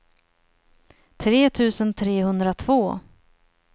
tre tusen trehundratvå